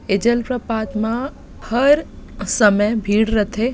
ए जलप्रपात म हर समय भीड़ रथे ।